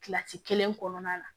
Kilasi kelen kɔnɔna la